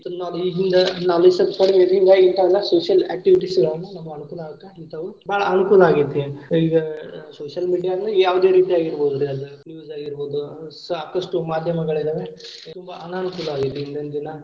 ಹಿಂತವೆಲ್ಲಾ social activities ಗಳನ್ನ ನಾವ ಅನುಕೂಲ ಆಗಾಕ ಇಂತವು ಬಾಳ ಅನುಕೂಲ ಆಗೇತಿ ಈಗಾ social media ಯಾವದೇ ರೀತಿ ಆಗಿರಬಹುದರಿ ಅದ news ಆಗಿರಬಹುದು ಸಾಕಷ್ಟು ಮಾದ್ಯಮಗಳಿದವೆ ತುಂಬಾ ಅನಾನುಕೂಲ ಆಗೇತಿ ಇಂದಿನ ದಿನಾ.